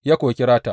Ya kuwa kira ta.